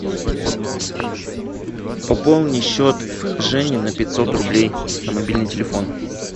пополни счет жени на пятьсот рублей на мобильный телефон